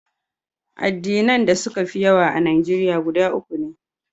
Addinai da suka fi yawa a Najeriya guda uku ne.